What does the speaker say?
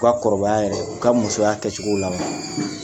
U ka kɔrɔbaya yɛrɛ, u ka musoya kɛ cogo la.